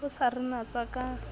o sa re natsa ka